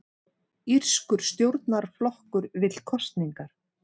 Írskur stjórnarflokkur vill kosningar